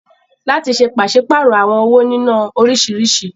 Láti ṣe pàṣípàrọ̀ àwọn owó nínọ́ oríṣiríṣi.